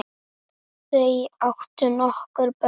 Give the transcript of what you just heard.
Þau áttu nokkur börn.